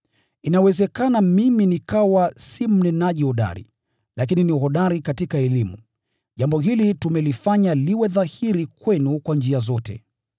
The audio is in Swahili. Inawezekana mimi nikawa si mnenaji hodari, lakini ni hodari katika elimu. Jambo hili tumelifanya liwe dhahiri kwenu kwa njia zote.